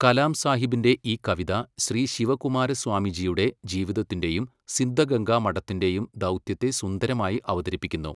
കലാം സാഹിബിന്റെ ഈ കവിത ശ്രീ ശിവകുമാരസ്വാമിജിയുടെ ജീവിതത്തിന്റെയും സിദ്ധഗംഗാ മഠത്തിന്റെയും ദൗത്യത്തെ സുന്ദരമായി അവതരിപ്പിക്കുന്നു.